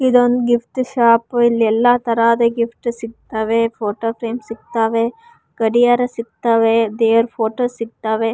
ಇದೊಂದ್ gift shop ಇಲ್ಲಿ ಎಲ್ಲ ತರದ ಗಿಫ್ಟ್ ಸಿಗ್ತಾವೆ ಫೊಟೊ ಫ್ರೇಮ್ ಸಿಗ್ತಾವೆ ಗಡಿಯಾರ ಸಿಗ್ತಾವೆ ದೇರ ಫೊಟೊ ಸಿಗ್ತಾವೆ.